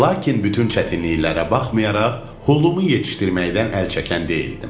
Lakin bütün çətinliklərə baxmayaraq hulumu yetişdirməkdən əl çəkən deyildim.